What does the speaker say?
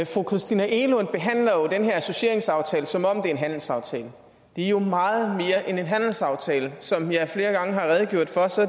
fru christina egelund behandler jo den her associeringsaftale som om det er en handelsaftale det er jo meget mere end en handelsaftale som jeg flere gange har redegjort for